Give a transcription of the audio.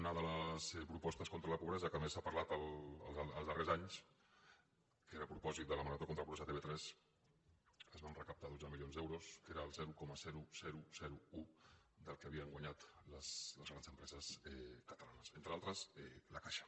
una de les propostes contra la pobresa que més s’ha parlat als darrers anys que era a propòsit de la marató contra pobresa a tv3 es van recaptar dotze milions d’euros que era el zero coma un del que havien guanyat les grans empreses catalanes entre d’altres la caixa